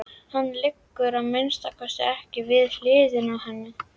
Hann liggur að minnsta kosti ekki við hliðina á henni.